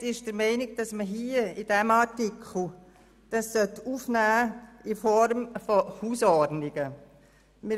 Die Minderheit ist der Meinung, dass man dies hier in diesem Artikel in Form von Hausordnungen aufnehmen sollte.